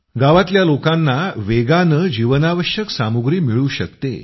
गावातल्या लोकांना वेगानं जीवनावश्यक सामुग्री मिळू शकते